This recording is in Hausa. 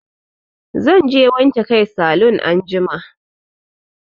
Zan je wanke kai a salun anjima.